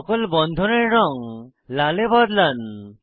সকল বন্ধনের রঙ লাল এ বদলান